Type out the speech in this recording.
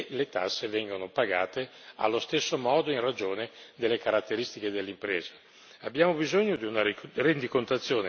Abbiamo bisogno di una base comune perché le tasse vengano pagate allo stesso modo in ragione delle caratteristiche dell'impresa.